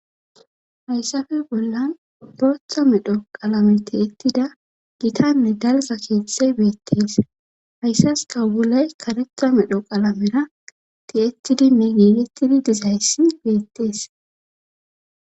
Hayssappe bollan bootha medho qalame ti7ettida gitanne dalgga keeththey beettees hayssas kawbuley karetha medho qalamera ti7ettidi me giigetidi dizayssi beettees.